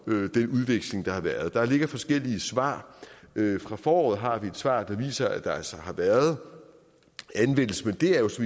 den udveksling der har været der ligger forskellige svar fra foråret har vi et svar der viser at der altså har været anvendelse men det er jo så